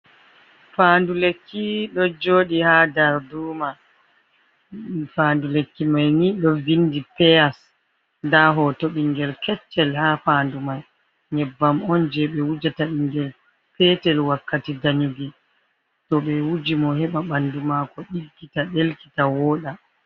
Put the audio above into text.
Fandu lekki ɗo joɗi ha darduma fandu lekki mai ni ɗo vindi peyas, nda hoto bingel keccel ha fandu mai, nyebbam on je be wujata bingel petel wakkati danyuki to be wuji mo heɓa bandu mako ɗiggita, delkita woda.